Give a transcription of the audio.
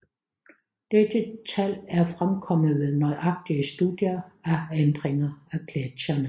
Dette tal er fremkommet ved nøjagtige studier af ændringer af gletsjerne